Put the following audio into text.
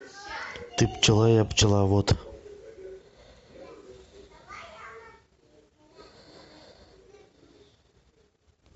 ты пчела я пчеловод